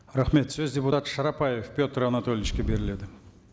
рахмет сөз депутат шарапаев петр анатольевичке беріледі